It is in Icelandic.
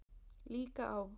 Líka á